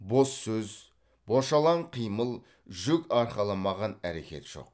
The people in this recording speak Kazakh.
бос сөз бошалаң қимыл жүк арқаламаған әрекет жоқ